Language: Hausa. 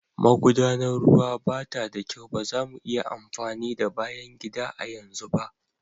Magudanar ruwa ba ta da kyau, ba za mu iya amfani da bayan gida a yanzu ba\